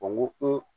O ko